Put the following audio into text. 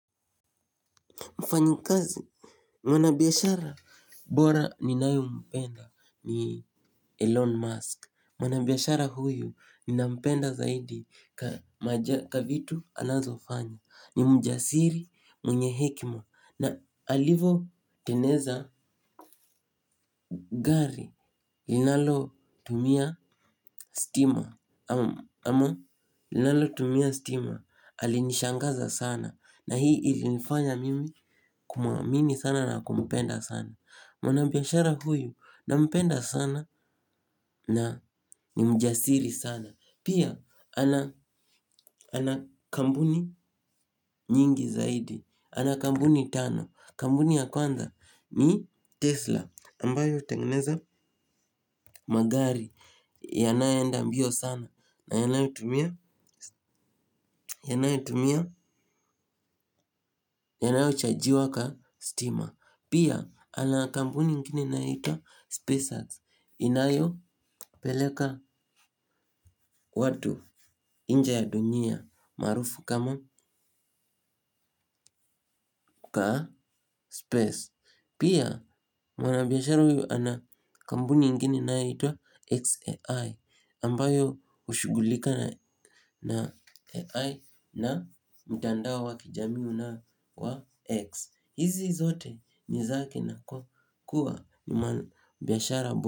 Mfanyi kazi. Mwana biashara bora ninayo mpenda ni Elon Musk. Mwana biashara huyu ninampenda zaidi ka vitu anazo fanya. Ni mjasiri mwenye hekima. Na alivo teneza gari. Linalo tumia stima ama linalotumia stima alinishangaza sana. Na hii ilinifanya mimi kumwamini sana na kumpenda sana. Mwana biashara huyu nampenda sana na ni mjasiri sana. Pia ana kampuni nyingi zaidi. Ana kampuni tano. Kampuni ya kwanza ni Tesla Ambayo hutengeneza magari yanayoenda mbio sana. Na yanayotumia yanayotumia yanayochajiwa ka stima. Pia ana kampuni ingine iyonaitwa SpaceX inayo peleka watu inje ya dunia maarufu kama kaa Space pia mwanabiashara huyu ana kampuni ingine inayoitwa X ai ambayo hushughulika na AI na mtandao wa kijamii una wa X hizi zote ni zake na kwa kuwa ni mwanabiashara bora.